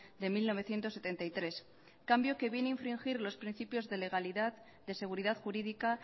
de mil novecientos setenta y tres cambio que viene a infringir los principios de legalidad de seguridad jurídica